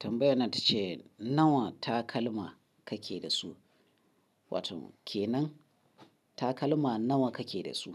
Tambayar nan ta ce nawa takalma ka ke da su, watan ke nan takalma nawa ka ke da su?